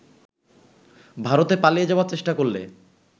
ভারতে পালিয়ে যাবার চেষ্টা করলে